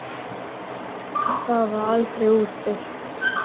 Það varð aldrei úr.